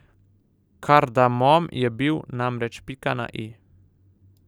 Kardamom je bil, namreč, pika na i.